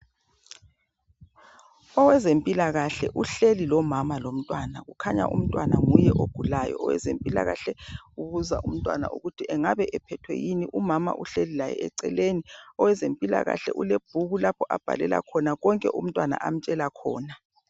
Owezempilakahle uhleli lomama lomntwana, kukhanya umntwana nguye ogulayo. Owezempilakahle ubuza umntwana ukuthi engabe ephethwe yini. Umamakhe uhleli laye eceleni. Owezempilakahle ulebhuku lapha abhalela khona konke umntwana amtshela khona.